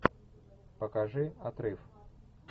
покажи отрыв